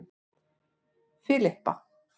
Filippa